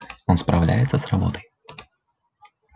он справляется с работой